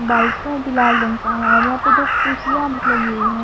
Bike है जो लाल रंग का है और यहां पे दो कुर्सियां भी लगी हुई है।